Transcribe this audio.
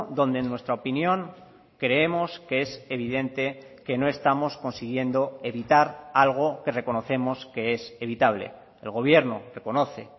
donde en nuestra opinión creemos que es evidente que no estamos consiguiendo evitar algo que reconocemos que es evitable el gobierno reconoce